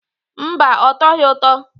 Mba, ọ tọghị ụtọ.